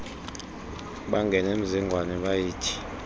bangena emzingwane bayithi